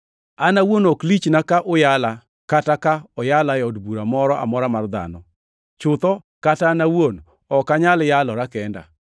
An awuon ok lichna ka uyala kata ka oyala e od bura moro amora mar dhano. Chutho kata an awuon ok anyal yalora kenda.